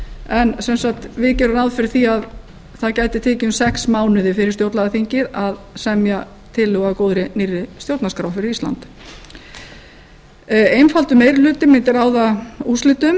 en sem sagt við gerum ráð fyrir því að það gæti tekið um sex mánuði fyrir stjórnlagaþingið að semja tillögu að góðri nýrri stjórnarskrá fyrir ísland einfaldur meiri hluta mundi ráða úrslitum